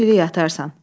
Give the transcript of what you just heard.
Bütün ili yatarsan.